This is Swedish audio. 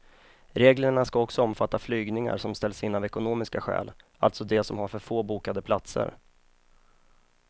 Reglerna ska också omfatta flygningar som ställs in av ekonomiska skäl, alltså de som har för få bokade platser.